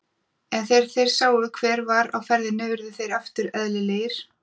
En þegar þeir sáu hver var á ferðinni urðu þeir aftur eðlilegir.